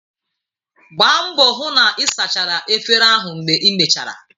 Gbaa mbọ hụ na ị sachara efere ahụ mgbe imechara!